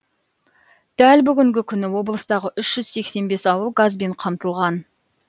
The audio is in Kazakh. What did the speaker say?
дәл бүгінгі күні облыстағы үш жүз сексен бес ауыл газбен қамтылған